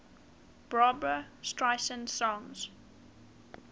barbra streisand songs